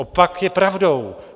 Opak je pravdou.